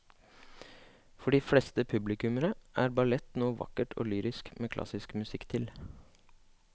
For de fleste publikummere er ballett noe vakkert og lyrisk med klassisk musikk til.